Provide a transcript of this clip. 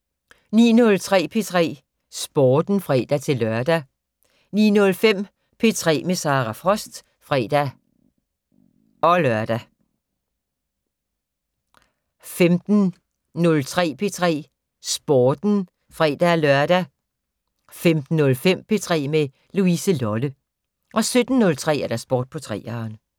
09:03: P3 Sporten (fre-lør) 09:05: P3 med Sara Frost (fre-lør) 15:03: P3 Sporten (fre-lør) 15:05: P3 med Louise Lolle 17:03: Sport på 3'eren